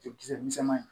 Cɛkisɛ misɛnman ye